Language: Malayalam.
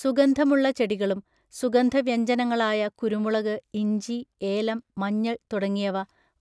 സുഗന്ധമുള്ള ചെടികളും, സുഗന്ധവ്യഞ്ജനങ്ങളായ കുരുമുളക്, ഇഞ്ചി, ഏലം, മഞ്ഞൾ തുടങ്ങിയവ